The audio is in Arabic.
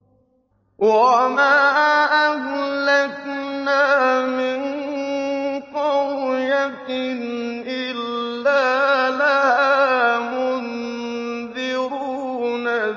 وَمَا أَهْلَكْنَا مِن قَرْيَةٍ إِلَّا لَهَا مُنذِرُونَ